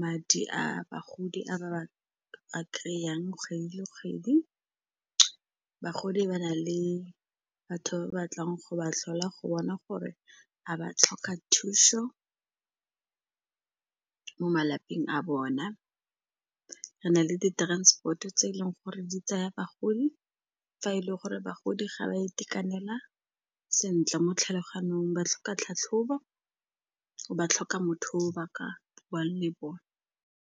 madi a bagodi a ba a kry-ang kgwedi le kgwedi. Bagodi ba na le batho ba ba tlang go ba tlhola go bona gore a ba tlhoka thušo mo malapeng a bona. Re na le di-transport-o tse e leng gore di tsaya bagodi fa e le gore bagodi ga ba a itekanela sentle mo tlhaloganyong, ba tlhoka tlhatlhobo, ba tlhoka motho o ba ka buang le bone.